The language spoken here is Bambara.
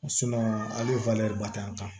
ali ba tɛ an kan